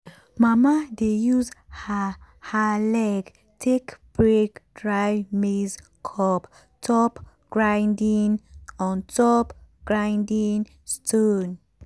mama dey use her her leg take break dry maize cob on top grinding stone.